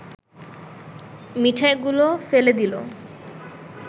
মিঠাইগুলো ফেলে দিল